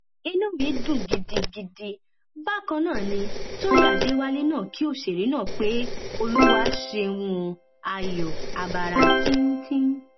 inú mi dùn gidigidi bákan náà ní tọyìn adéwálé náà kí òṣèré náà pé olúwa ṣeun òò ayo abara tíntìn